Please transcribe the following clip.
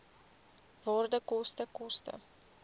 waarde koste koste